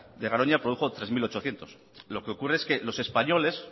de garoña produjo tres mil ochocientos gwh lo que ocurre es que los españoles